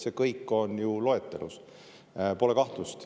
See kõik on ju loetelus, pole kahtlust.